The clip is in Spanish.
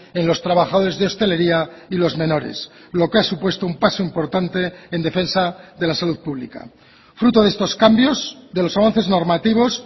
en los trabajadores de hostelería y los menores lo que ha supuesto un paso importante en defensa de la salud pública fruto de estos cambios de los avances normativos